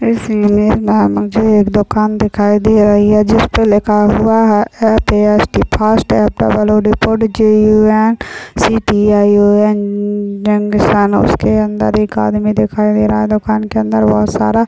इस इमेज में मुझे एक इमेज मुझे एक दुकान दिखाई दे रही है जिसपे लिखा हुआ है F A S T fast F double O D food fast food जे_यु_एन_सी_टी_आई_ओ_एन junction उसके अंदर एक आदमी दिखाई दे रहा है दुकान के अंदर बहुत सारा--